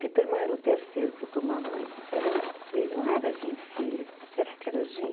Piperman era o terceiro que eu tomava, mas eram três, não era Gin Fizz, será que era Gin?